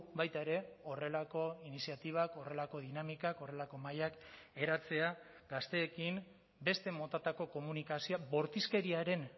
baita ere horrelako iniziatibak horrelako dinamikak horrelako mahaiak eratzea gazteekin beste motatako komunikazioa bortizkeriaren